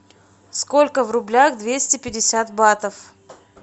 сколько в рублях двести пятьдесят батов